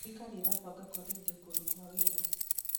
Thirikari ĩrabanga kũagĩrithia kũndũ kwa wĩra.